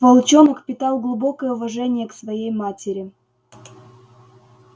волчонок питал глубокое уважение к своей матери